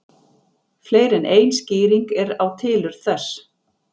Fleiri en ein skýring er á tilurð þess.